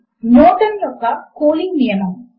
Newton యొక్క cooling నియమము